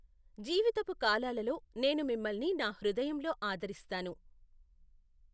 జీవితపు కాలాలలో, నేను మిమ్మల్ని నా హృదయంలో ఆదరిస్తాను.